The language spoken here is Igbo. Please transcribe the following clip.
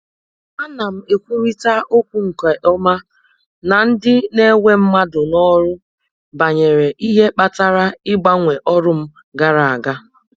Ana m ekwurịta okwu nke ọma na ndị na-ewe mmadụ n'ọrụ banyere ihe kpatara ịgbanwe ọrụ m gara aga.